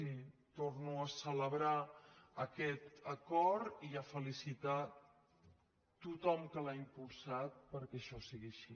i torno a celebrar aquest acord i a felicitar a tothom que l’ha impulsat perquè això sigui així